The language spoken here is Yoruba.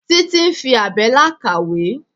Títí ń fi àbẹ́là kàwé.